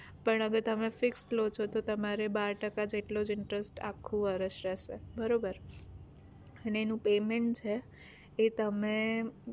પણ હવે તમે fix લો છો તો તમારે બાર ટકા જેટલો જ interest આખું વર્ષ રહેશે બરોબર અને એનું payment છે એ તમે